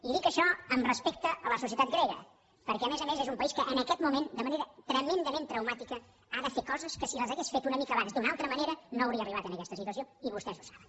i dic això amb respecte a la societat grega perquè a més a més és un país que en aquest moment de manera tremendament traumàtica ha de fer coses que si les hagués fet una mica abans d’una altra manera no hauria arribat a aquesta situació i vostès ho saben